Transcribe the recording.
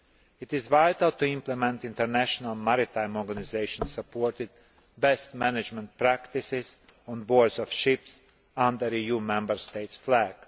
It is vital to implement International Maritime Organisation supported best management practices' on board ships under EU Member State flags.